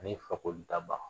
Ani fakoli daba